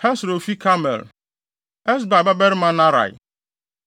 Hesro a ofi Karmel; Esbai babarima Naarai.